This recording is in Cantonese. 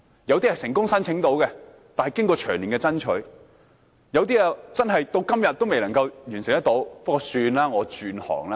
有些人能夠成功申請，但需經過長年的爭取；而有些至今仍未能夠完成申請，他們只好說：算了，我轉行吧。